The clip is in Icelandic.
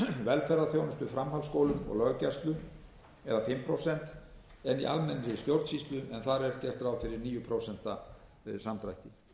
velferðarþjónustu framhaldsskólum og löggæslu fimm prósent en í almennri stjórnsýslu en þar er gert ráð fyrir níu prósent samdrætti